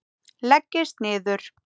Leggist niður.